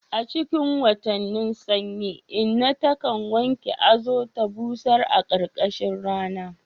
A cikin watannin sanyi, inna ta kan wanke azu ta busar a ƙarƙashin rana.